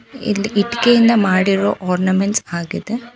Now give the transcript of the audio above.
ಇಲ್ಲಿ ಇಟ್ಟಿಗೆಯಿಂದ ಮಾಡಿರುವ ಆರ್ನಮೆಂಟ್ಸ್ ಆಗಿದೆ.